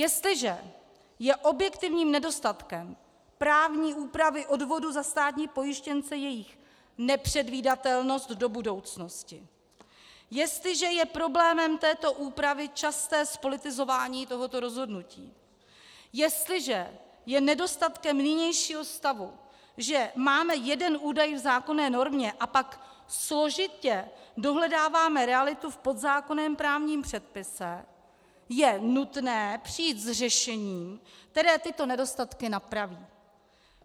Jestliže je objektivním nedostatkem právní úpravy odvodu za státní pojištěnce jejich nepředvídatelnost do budoucnosti, jestliže je problémem této úpravy časté zpolitizování tohoto rozhodnutí, jestliže je nedostatkem nynějšího stavu, že máme jeden údaj v zákonné normě a pak složitě dohledáváme realitu v podzákonném právním předpise, je nutné přijít s řešením, které tyto nedostatky napraví.